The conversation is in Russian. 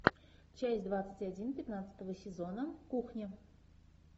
часть двадцать один пятнадцатого сезона кухня